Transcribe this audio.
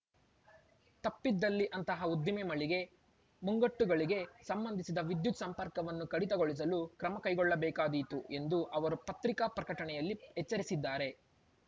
ತಪ್ಪಿದಲ್ಲಿ ಅಂತಹ ಉದ್ದಿಮೆ ಮಳಿಗೆ ಮುಂಗಟ್ಟುಗಳಿಗೆ ಸಂಬಂಧಿಸಿದ ವಿದ್ಯುತ್‌ ಸಂಪರ್ಕವನ್ನು ಕಡಿತಗೊಳಿಸಲು ಕ್ರಮ ಕೈಗೊಳ್ಳಬೇಕಾಗಿತ್ತು ಎಂದು ಅವರು ಪತ್ರಿಕಾ ಪ್ರಕಟಣೆಯಲ್ಲಿ ಎಚ್ಚರಿಸಿದ್ದಾರೆ